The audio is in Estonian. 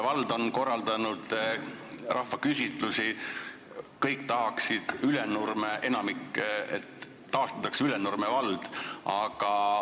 Vald on korraldanud rahvaküsitlusi, kõik või enamik tahaks, et taastataks Ülenurme vald.